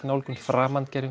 nálgun